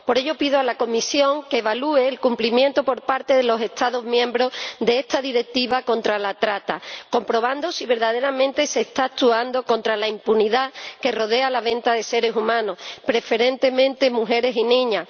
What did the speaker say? Por ello, pido a la Comisión que evalúe el cumplimiento por parte de los Estados miembros de esta Directiva contra la trata, comprobando si verdaderamente se está actuando contra la impunidad que rodea la venta de seres humanos, preferentemente mujeres y niñas.